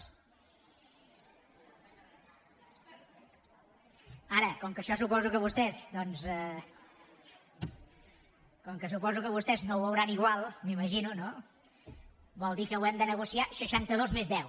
ara com que això suposo que vostès doncs com que suposo que vostès no ho veuran igual m’imagino no vol dir que ho hem de negociar seixantados més deu